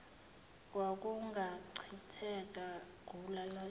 kwakungachitheka gula linamasi